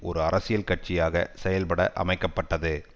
ஒரு அரசியல் கட்சியாக செயல்பட அமைக்க பட்டது